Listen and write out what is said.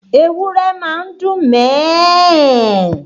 Ewúrẹ́ máa ń dún mẹ̀ ẹ́ ẹ̀